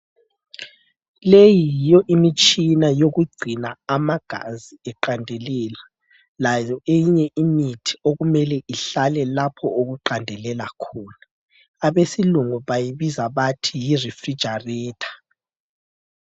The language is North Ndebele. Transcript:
Leyi yiyo imitshina yokugcina amagazi eqandelela, layo eyinye imithi emele ihlale lapho okuqandelela khona. Abesilungu bayibiza bathi yi refrigerator.